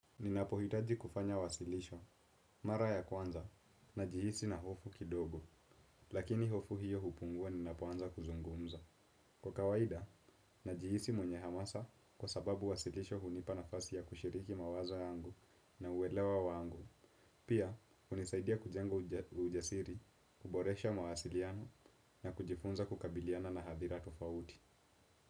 Ninapohitaji kufanya wasilisho, mara ya kwanza, najihisi na hofu kidogo, lakini hofu hiyo hupungua ninapoanza kuzungumza. Kwa kawaida, najihisi mwenye hamasa kwa sababu wasilisho hunipa nafasi ya kushiriki mawazo yangu na uelewa wangu. Pia, hunisaidia kujenga ujasiri, kuboresha mawasiliano, na kujifunza kukabiliana na athira tofauti.